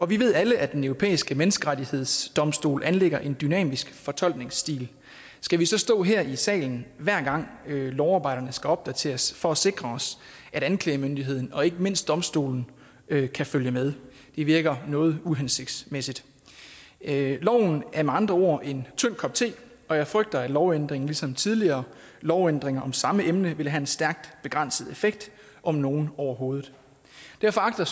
vi ved alle at den europæiske menneskerettighedsdomstol anlægger en dynamisk fortolkningsstil skal vi så stå her i salen hver gang lovarbejderne skal opdateres for at sikre os at anklagemyndigheden og ikke mindst domstolene kan følge med det virker noget uhensigtsmæssigt loven er med andre ord en tynd kop te og jeg frygter at lovændringen ligesom tidligere lovændringer om samme emne vil have en stærk begrænset effekt om nogen overhovedet derfor agter